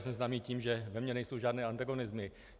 Jsem známý tím, že ve mně nejsou žádné antagonismy.